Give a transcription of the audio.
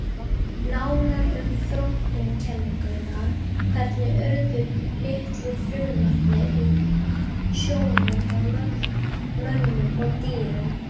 Nánar um þróunarkenninguna Hvernig urðu litlu frumurnar í sjónum að mönnum og dýrum?